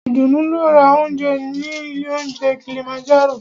Ìdùnú lọ ra óúnjẹ ní ilé óunjẹ Kilimanjaro.